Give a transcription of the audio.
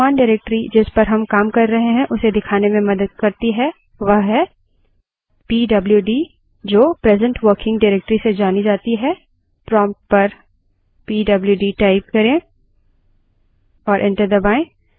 अगली command हमें वर्त्तमान directory जिस पर हम काम कर रहे हैं उसे दिखाने में मदद करती है वह है pwd जो present working directory से जानी जाती है prompt पर pwd type करें और enter दबायें